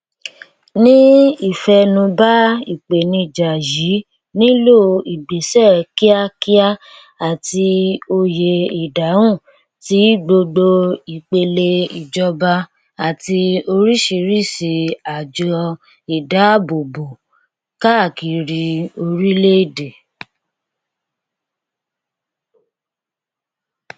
ní ìfẹnubà ìpènijà yìí nílò ìgbésẹ kíákíá àti òye ìdáhùn tí gbogbo ìpele ìjọba àti oríṣiríṣi àjọ ìdábòbò káàkiri orílẹèdè